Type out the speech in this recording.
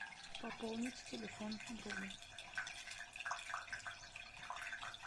пополнить телефон друга